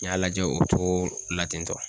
N y'a lajɛ o cogo la ten tɔ.